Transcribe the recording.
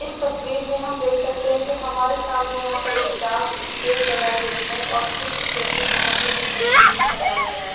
इस तस्वीर में हम देख सकते हैं कि हमारे सामने यहाँ पर एक डांस स्टेज लगायी गयी है और इस स्टेज पे बोहोत ही अच्छे तरीके से सजाया गया है।